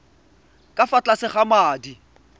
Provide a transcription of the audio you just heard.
ka fa tlase ga madi